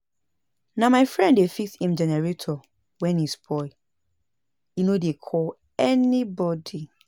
Na my friend dey fix im generator wen e spoil, e no dey call anybodi.